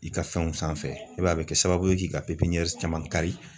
I ka fɛnw sanfɛ i b'a ye a be kɛ sababu ye k'i ka pepiɲɛruw caman kari